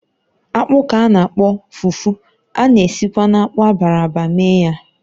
Akpu ka a na-akpọkwa fufu, a na-esikwa na akpụ abara ábà mee ya